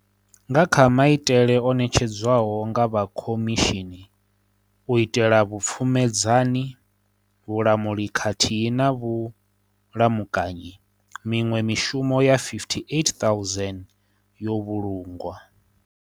Nga kha maitele o ṋetshedzwaho nga vha Khomishimi u itela vhu pfumedzani, vhulamuli khathihi na vhulamukanyi, miṅwe mishumo ya 58 000 yo vhulungwa.